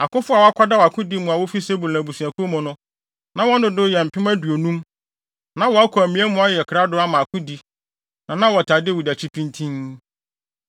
Akofo a wɔakwadaw akodi mu a wofi Sebulon abusuakuw mu no, na wɔn dodow yɛ mpem aduonum (50,000). Na wɔakɔ amia mu ayɛ krado ama akodi, na na wɔtaa Dawid akyi pintinn.